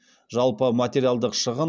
жалпы материалдық шығын